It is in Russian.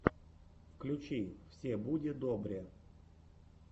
включи все буде добре